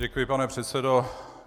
Děkuji, pane předsedo.